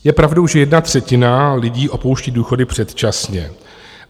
Je pravdou, že jedna třetina lidí opouští (?) důchody předčasně.